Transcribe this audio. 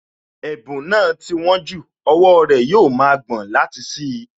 Ẹ̀bùn náà ti wón jù, owó rẹ̀ yóò ma gbọ̀n láti ṣí i